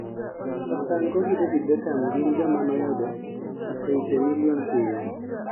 Papa Franco gi David Becham gin joma noyudo oseipe milion piyo